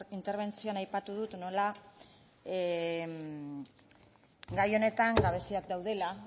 interbentzioan aipatu dut nola gai honetan gabeziak daudela